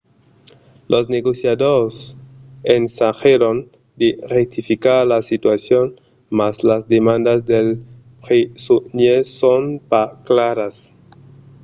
los negociadors ensagèron de rectificar la situacion mas las demandas dels presonièrs son pas claras